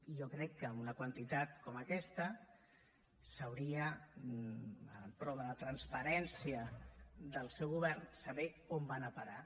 i jo crec que una quantitat com aquesta s’hauria en prova de transparència del seu govern de saber on van a parar